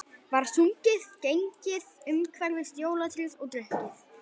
Var sungið, gengið umhverfis jólatréð og drukkið.